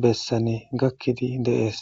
bessane gakkidi deees